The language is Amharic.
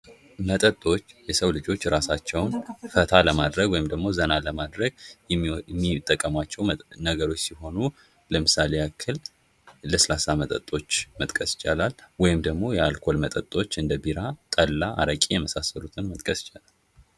ውሃ ለሰው ልጅ ሕይወት እጅግ አስፈላጊ የሆነ መጠጥ ሲሆን የሰውነትን ሙቀት ለመቆጣጠርና ተግባራትን ለማከናወን ይረዳል።